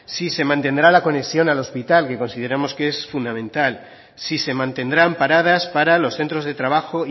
si se mantendrá la conexión al hospital que consideramos que es fundamental si se mantendrán paradas para los centros de trabajo